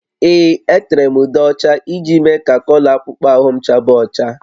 Ee, etere m ude ọcha iji mee ka kọlọ akpụkpọ ahụ m chaba ọcha